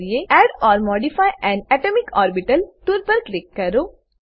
add or modify an atomic orbital tool પર click કરો